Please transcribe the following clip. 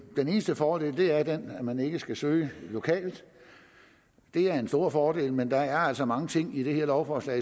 den eneste fordel er den at man ikke skal søge lokalt det er en stor fordel men der er altså mange ting i det her lovforslag